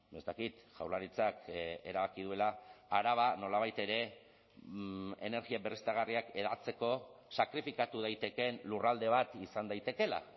ez dakit jaurlaritzak erabaki duela araba nolabait ere energia berriztagarriak hedatzeko sakrifikatu daitekeen lurralde bat izan daitekeela